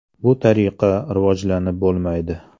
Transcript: Bu tariqa rivojlanib bo‘lmaydi.